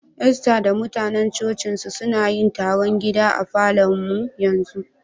Esther da mutanen coci'n su, suna yin taron gida a Falo'n mu yanzu.